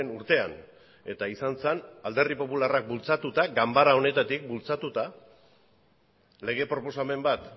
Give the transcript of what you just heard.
urtean eta izan zen alderdi popularrak bultzatuta ganbara honetatik bultzatuta lege proposamen bat